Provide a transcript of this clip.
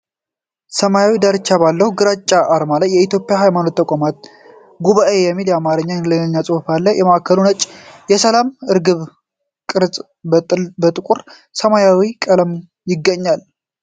ሰማያዊ ዳርቻ ባለው ግራጫ አርማ ላይ "የኢትዮጵያ የሃይማኖት ተቋማት ጉባኤ" የሚል የአማርኛና የእንግሊዝኛ ጽሁፍ አለ። በማዕከሉ ነጭ የሰላም ርግቢ ቅርጽ በጥቁር ሰማያዊ ቀለም ይገኛል።